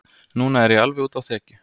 Núna er ég alveg úti á þekju.